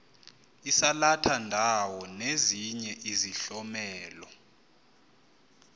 isalathandawo nezinye izihlomelo